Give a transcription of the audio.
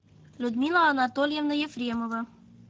людмила анатольевна ефремова